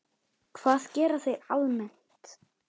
Hvað gera þeir almennt?